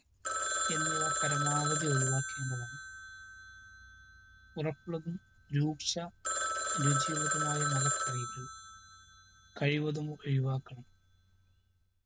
എന്നിവ പരമാവധി ഒഴിവാക്കേണ്ടതാണ്. ഉറപ്പുള്ളതും രൂക്ഷ രുചിയുള്ളതുമായ മലക്കറികൾ കഴിവതും ഒഴിവാക്കണം.